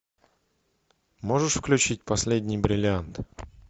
можешь включить последний бриллиант